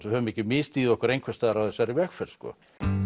höfum ekki misstigið okkur einhvers staðar á þessari vegferð sko